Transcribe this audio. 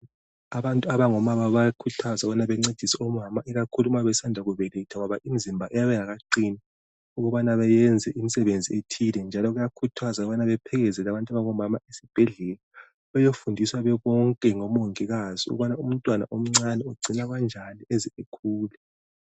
Abantu abango baba bayakhuthazwa ukubana bencedise omama ikakhulu besanda kubeletha ngoba imizimba iyabe ingakaqini ukubana beyenze imisebenzi ethile njalo kuyakuthazwa ukubana bephelekezele abantu abango mama esibhedlela beyofundiswa bebonke ngomongikazi ukubana umntwana omncane ugcinwa kanjani eze ekhule